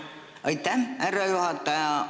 Aitäh, härra juhataja!